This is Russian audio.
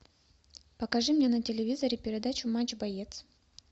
покажи мне на телевизоре передачу матч боец